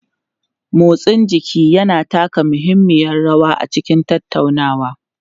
Motsin jiki yana taka muhimmiyar rawa a cikin tattaunawa.